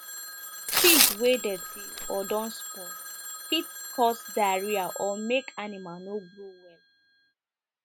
feed wey dirty or don spoil fit cause diarrhoea or make animal no grow well